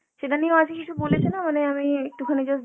সেটা নিয়েও আজ কিছু বলেছে না মানে আমি একটুখানি just